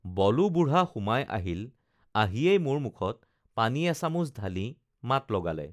বলো বুঢ়া সুমাই আহিল আহিয়েই মোৰ মুখত পানী এচামুচ ঢালি মাত লগালে